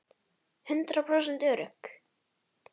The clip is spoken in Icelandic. Hundrað prósent örugg!